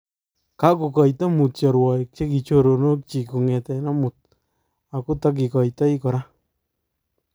Kakokoita mutya rwaik che choronok chik kongete amut akotakikoitoi kora